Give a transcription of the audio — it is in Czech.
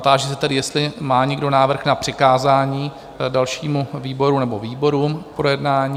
Táži se tedy, jestli má někdo návrh na přikázání dalšímu výboru nebo výborům k projednání?